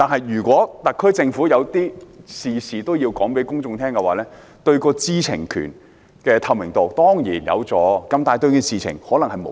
如果特區政府事事都要向公眾交代，當然有助提高知情權和透明度，但對事情卻可能無益。